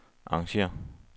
arrangér